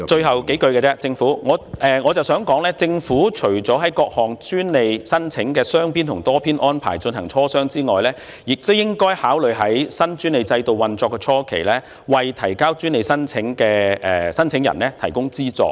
好的，我想說的最後數句是，政府除了就各項專利申請的雙邊及多邊安排進行磋商外，亦應該考慮在新專利制度運作初期，為專利申請人提供資助。